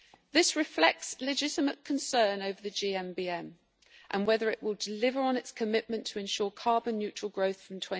This reflects legitimate concern over the GMBM and whether it will deliver on its commitment to ensure carbon neutral growth from